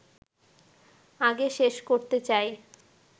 আগে শেষ করতে চাই